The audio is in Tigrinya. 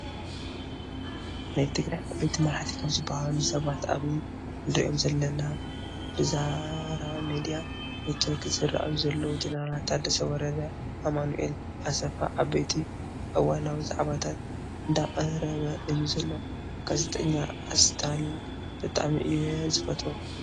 ናይ ትግራይ ዓበይቲ መራሕቲ ካብ ዝበሃሉ ሰባት ኣብዚ እንሪኦም ዘለና ብዛራ ሚድያ ኔትዎርክ ዝረኣዩ ዘለው ጀነራል ታደሰ ወረደ፣ ኣማኑኤል ኣሰፋ፣ ዓበይቲ እዋናዊ ዛዕባታት እንዳቅረበ እዩ ዘሎ። ጋዜጠኛ እስታሊን ብጣዕሚ እዩ ዝፈትዎ ።